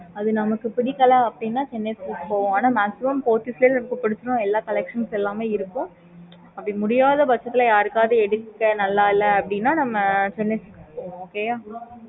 okay mam